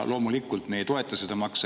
Loomulikult, me ei toeta seda maksu.